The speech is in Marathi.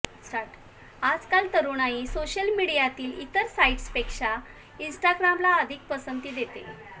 आजकाल तरुणाई सोशल मीडियातील इतर साईट्सपेक्षा इंस्टाग्रामला अधिक पसंती देते